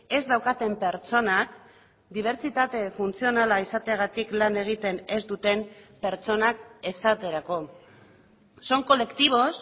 ez daukaten pertsonak dibertsitate funtzionala izateagatik lan egiten ez duten pertsonak esaterako son colectivos